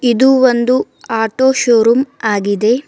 ಇದು ಒಂದು auto showroom ಆಗಿದೆ.